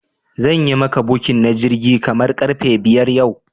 Zanyi maka booking na jirgi kaman karfe biyar yau